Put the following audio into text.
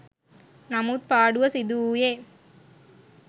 නමුත් පාඩුව සිදු වුයේ